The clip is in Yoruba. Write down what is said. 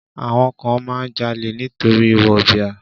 Àwọn kan máa ń jalè nítorí wọ̀bìà.